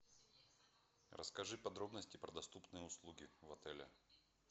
расскажи подробности про доступные услуги в отеле